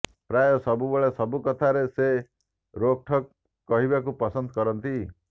ପ୍ରାୟ ସବୁବେଳେ ସବୁ କଥାରେ ସେ ରୋକ୍ଠୋକ୍ କହିବାକୁ ପସନ୍ଦ କରନ୍ତି